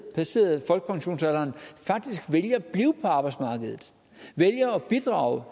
passeret folkepensionsalderen faktisk vælger at blive på arbejdsmarkedet vælger at bidrage